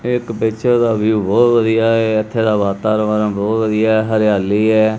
ਇੱਕ ਪਿਕਚਰ ਦਾ ਵਿਊ ਬਹੁਤ ਵਧੀਆ ਹੈ। ਇੱਥੇ ਦਾ ਵਾਤਾਵਰਣ ਬਹੁਤ ਵਧੀਆ ਹੈ। ਹਰਿਆਲੀ ਹੈ।